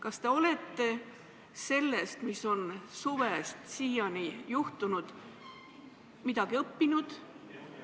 Kas te olete sellest, mis on suvest siiani juhtunud, midagi õppinud?